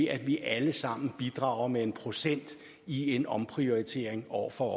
at vi alle sammen bidrager med en procent i en omprioritering år for